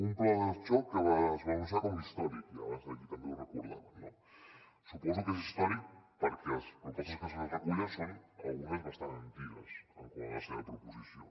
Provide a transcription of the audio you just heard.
un pla de xoc que es va anunciar com a històric i abans aquí també ho recordaven no suposo que és històric perquè les propostes que s’hi recullen són algunes bastant antigues quant a la seva proposició